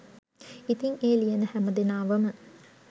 ඉතිං ඒ ලියන හැම දෙනාවම